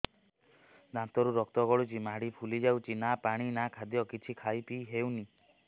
ଦାନ୍ତ ରୁ ରକ୍ତ ଗଳୁଛି ମାଢି ଫୁଲି ଯାଉଛି ନା ପାଣି ନା ଖାଦ୍ୟ କିଛି ଖାଇ ପିଇ ହେଉନି